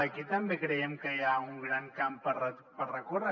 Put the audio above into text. aquí també creiem que hi ha un gran camp per recórrer